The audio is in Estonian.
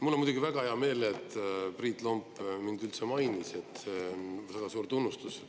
Mul on muidugi väga hea meel, et Priit Lomp mind üldse mainis, see on väga suur tunnustus.